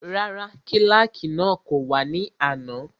Rárá, kílàkì náà kò wá ní àná